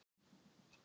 og hann bara dó.